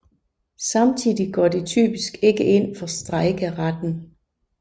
Samtidig går de typisk ikke ind for strejkeretten